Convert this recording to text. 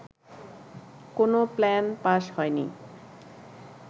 কোনো plan pass হয়নি